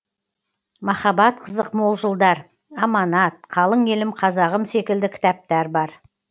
махаббат қызық мол жылдар аманат қалың елім қазағым секілді кітаптар бар